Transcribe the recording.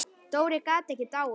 Dóri gat ekki dáið.